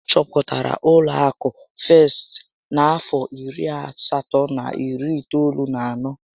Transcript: Achọpụtara ụlọ akụ Festị n'afọ iri na asatọ na iri itoolu na anọ